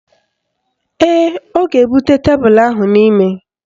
Ee, ọ ga-ebute tebelu ahụ n'ime.